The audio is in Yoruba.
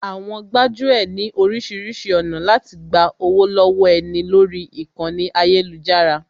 Àwọn gbájú ẹ̀ ní oríṣiríṣi ọ̀nà láti gba owó lọ́wọ́ ẹni lórí ìkànnì ayélujára